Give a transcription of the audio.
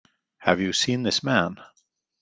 Have you seen this man?